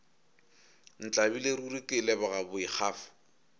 ntlabile ruri ke leboga boikgafo